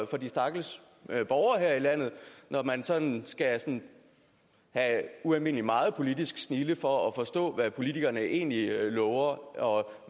for de stakkels borgere her i landet når man sådan skal have ualmindelig meget politisk snilde for at forstå hvad politikerne egentlig lover og